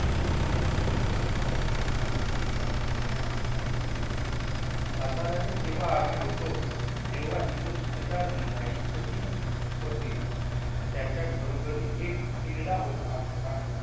सातारयाला तेवा आम्ही होत जेहवा इथे सुभेदार नाईक ही होते त्यांच्या घरों घरी एक उकीरडा होता